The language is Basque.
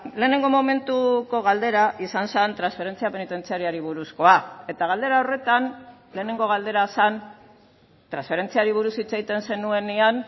lehenengo momentuko galdera izan zen transferentzia penitentziarioari buruzkoa eta galdera horretan lehenengo galdera zen transferentziari buruz hitz egiten zenuenean